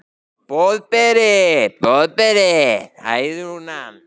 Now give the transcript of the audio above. Boðberi, Boðberi, hæðir hún hann.